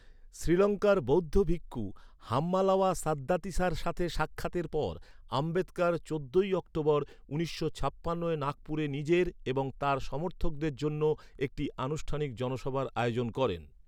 শ্রীলঙ্কার বৌদ্ধ ভিক্ষু হাম্মালাওয়া সাদ্দাতিসার সাথে সাক্ষাতের পর, আম্বেদকর চোদ্দই অক্টোবর উনিশশো ছাপ্পান্ন সালের নাগপুরে নিজের এবং তার সমর্থকদের জন্য একটি আনুষ্ঠানিক জনসভার আয়োজন করেন।